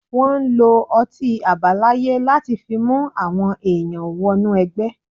Wọ́n lo ọtí àbáláyé láti fi mú àwọn èèyàn wọ́nú ẹgbẹ́.